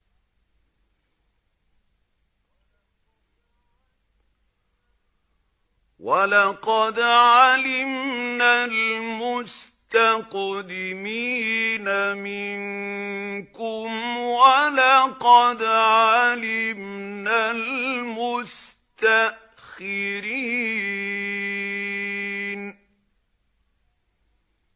وَلَقَدْ عَلِمْنَا الْمُسْتَقْدِمِينَ مِنكُمْ وَلَقَدْ عَلِمْنَا الْمُسْتَأْخِرِينَ